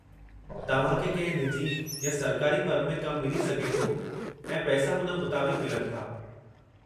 तव्हां खे कंहिं निजी या सरकारी फर्म में कमु मिली सघे थो ऐं पैसा हुन मुताबिक़ु मिलनि था।